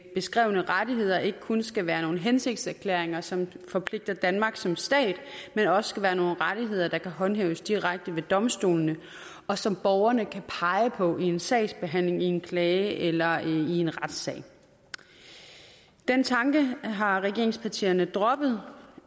beskrevne rettigheder ikke kun skal være nogle hensigtserklæringer som forpligter danmark som stat men også skal være nogle rettigheder der kan håndhæves direkte ved domstolene og som borgerne kan pege på i en sagsbehandling i en klage eller i en retssag den tanke har regeringspartierne droppet